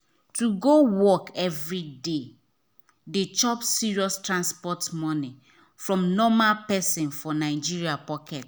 to go work every day dey chop serious transport money from normal person for nigeria pocket.